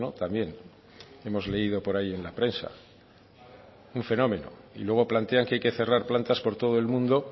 también hemos leído por ahí en la prensa un fenómeno y luego plantean que hay que cerrar plantas por todo el mundo